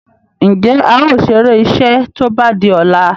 Njé ào ṣeré iṣé tó bá dì ola?